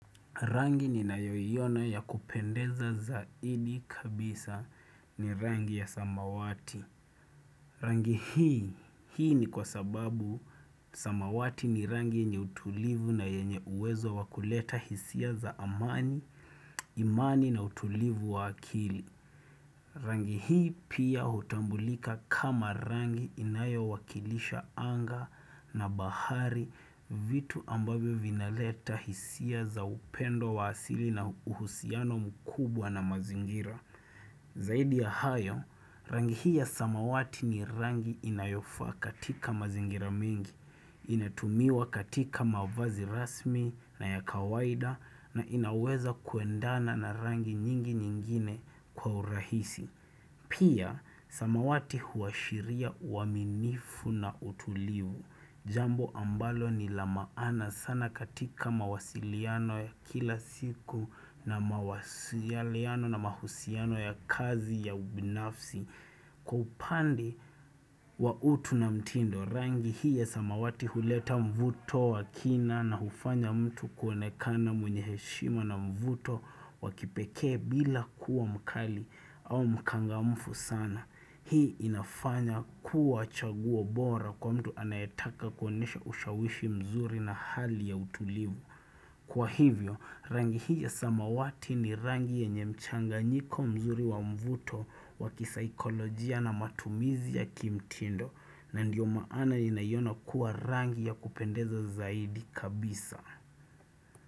Rangi ninayoiona ya kupendeza zaidi kabisa ni rangi ya samawati. Rangi hii ni kwa sababu samawati ni rangi yenye utulivu na yenye uwezo wakuleta hisia za amani, imani na utulivu wa akili. Rangi hii pia hutambulika kama rangi inayo wakilisha anga na bahari vitu ambavyo vinaleta hisia za upendo wa asili na uhusiano mkubwa na mazingira. Zaidi ya hayo, rangi hii ya samawati ni rangi inayofaa katika mazingira mingi, inatumiwa katika mavazi rasmi na ya kawaida na inaweza kuendana na rangi nyingi nyingine kwa urahisi. Pia, samawati huashiria uaminifu na utulivu. Jambo ambalo ni la maana sana katika mawasiliano ya kila siku na mawasiliano na mahusiano ya kazi ya ubinafsi. Kwa upande kwa utu na mtindo, rangi hii ya samawati huleta mvuto wa kina na hufanya mtu kuonekana mwenye heshima na mvuto wakipekee bila kuwa mkali au mkangamfu sana. Hii inafanya kuwa chaguo bora kwa mtu anayetaka kuonesha ushawishi mzuri na hali ya utulivu. Kwa hivyo, rangi hii ya samawati ni rangi yenye mchanganyiko mzuri wa mvuto wa kisaikolojia na matumizi ya kimtindo na ndiyo maana ninayoiona kuwa rangi ya kupendeza zaidi kabisa.